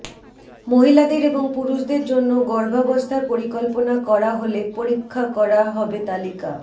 মহিলাদের এবং পুরুষদের জন্য গর্ভাবস্থার পরিকল্পনা করা হলে পরীক্ষা করা হবে তালিকা